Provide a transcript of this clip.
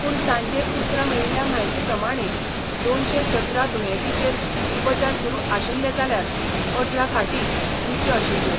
पूण सांजे उसरां मेळिल्ल्या म्हायती प्रमाणें दोनशे सतरा दुयेंतींचेर उपचार सुरू आशिल्ले जाल्यार अठरा खाटी रित्यो आशिल्ल्यो.